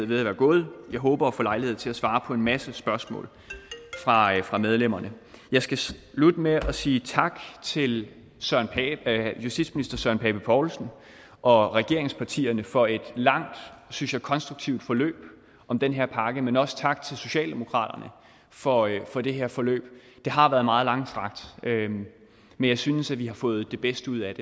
ved at være gået jeg håber at få lejlighed til at svare på en masse spørgsmål fra medlemmerne jeg skal slutte med at sige tak til justitsministeren og regeringspartierne for et langt og synes jeg konstruktivt forløb om den her pakke men også tak til socialdemokratiet for for det her forløb det har været meget langstrakt men jeg synes at vi har fået det bedste ud af